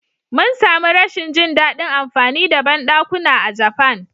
Mun sami rashin jin daɗin amfani da bandakuna a Japan.